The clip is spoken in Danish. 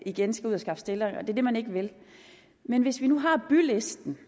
igen skal ud og skaffe stillere og det er det man ikke vil men hvis vi nu har bylisten